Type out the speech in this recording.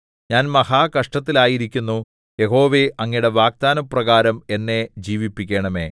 ഞാൻ മഹാകഷ്ടത്തിലായിരിക്കുന്നു യഹോവേ അങ്ങയുടെ വാഗ്ദാനപ്രകാരം എന്നെ ജീവിപ്പിക്കണമേ